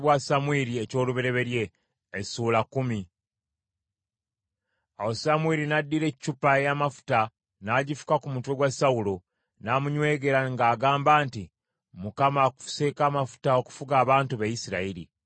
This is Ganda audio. Awo Samwiri n’addira eccupa ey’amafuta n’agifuka ku mutwe gwa Sawulo, n’amunywegera ng’agamba nti, “ Mukama akufuseeko amafuta okufuga abantu be, Isirayiri.